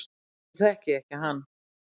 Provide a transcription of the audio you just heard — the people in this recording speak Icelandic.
Nú þekki ég ekki hann